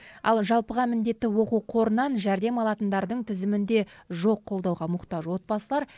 ал жалпыға міндетті оқу қорынан жәрдем алатындардың тізімінде жоқ қолдауға мұқтаж отбасылар